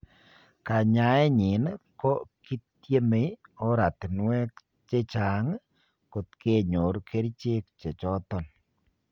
Kanyaenyin ko kitieme oratinwek chechang kot kenyor kerichek che choton.